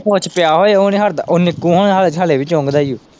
ਜਿਨੂੰ ਭੁੱਚ ਪਿਆ ਹੋਏ ਉਹ ਨੀ ਹੱਟਦਾ, ਉਹ ਨਿੱਕੂ ਹੁਣਾ ਆ ਹੱਲੇ ਵੀ ਚੁੰਗਦਾ ਈ ਉਹ।